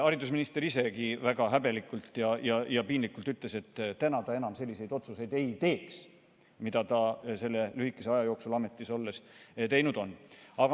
Haridusminister isegi väga häbelikult ja piinlikult ütles, et täna ta enam selliseid otsuseid ei teeks, mida ta selle lühikese aja jooksul ametis olles on teinud.